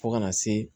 Fo kana se